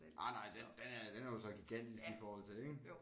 Ej nej den den er den er jo så gigantisk i forhold til ik